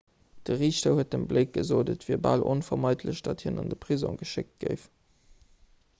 de riichter huet dem blake gesot et wier bal onvermeidlech datt hien an de prisong geschéckt géif